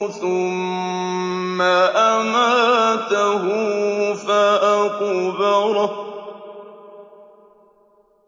ثُمَّ أَمَاتَهُ فَأَقْبَرَهُ